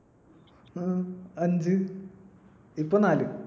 ഹും അഞ്ച്. ഇപ്പൊ നാല്.